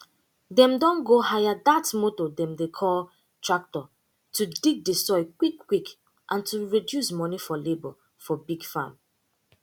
dem don go hire dat motor dem dey call tractor to dig de soil quick quick and to reduce moni for labor for big farm